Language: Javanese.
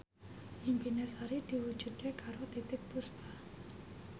impine Sari diwujudke karo Titiek Puspa